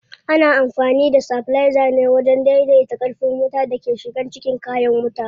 Ana amfani da stabilizer ne wajen dai dai ta ƙarfin wutan da ke shiga cikin kayan wuta.